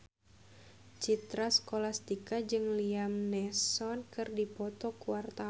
Citra Scholastika jeung Liam Neeson keur dipoto ku wartawan